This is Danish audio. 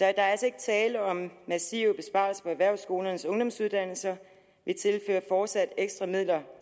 er altså ikke tale om massive besparelser på erhvervsskolernes ungdomsuddannelser vi tilfører fortsat ekstra midler